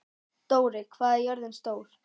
Dóri, hvað er jörðin stór?